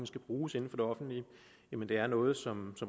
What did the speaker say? skal bruges inden for det offentlige det er noget som